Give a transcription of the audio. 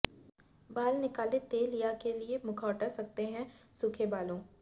बाल निकालें तेल या के लिए मुखौटा सकता है सूखे बालों